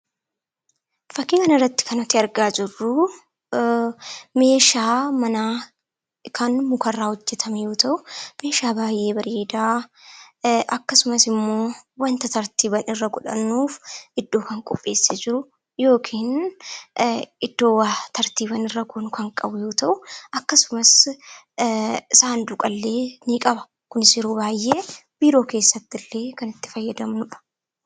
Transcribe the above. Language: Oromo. Fakkii kanarratti kan nuti argaa jirru meeshaa manaa kan mukarraa hojjetame yoo ta'u, meeshaa baay'ee bareedaa akkasumas immoo wanta tartiiba irra godhannuuf iddoo kan qopheessee jiru yookiin iddoo waa tartiibaan irra goonu kan qabu yoo ta'u, akkasumas saanduqa illee ni qaba. Kunis yeroo baay'ee biiroo keessatti illee kan itti fayyadamnudha.